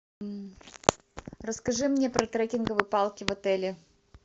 расскажи мне про трекинговые палки в отеле